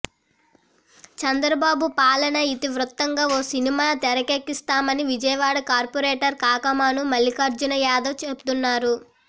చంద్రబాబు పాలన ఇతివృత్తంగా ఓ సినిమా తెరకెక్కిస్తామని విజయవాడ కార్పోరేటర్ కాకమాను మల్లిఖార్జున యాదవ్ చెబుతున్నారు